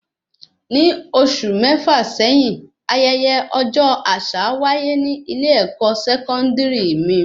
Ní oṣù mẹta sẹ́yín, ayẹyẹ ọjọ àṣà wáyé ní ilé ẹkọ sẹkọndiri mí